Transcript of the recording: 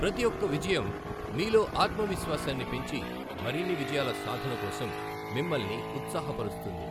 ప్రతి ఒక్క విజయం మీలో ఆత్మవిశ్వాసాన్ని పెంచి మరిన్ని విజయాల సాధన కోసం మిమ్మల్ని ఉత్సాహపరుస్తుంది.